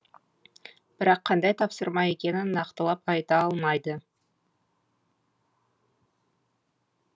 бірақ қандай тапсырма екенін нақтылап айта алмайды